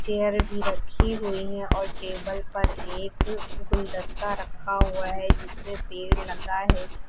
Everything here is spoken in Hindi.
चेयर भी रखी हुई हैं और टेबल पर एक गुलदस्ता रखा हुआ है जिसमें पेड़ लगा है।